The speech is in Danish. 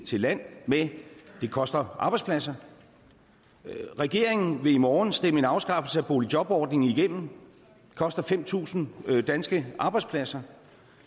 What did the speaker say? land med det koster arbejdspladser regeringen vil i morgen stemme en afskaffelse af boligjobordningen igennem det koster fem tusind danske arbejdspladser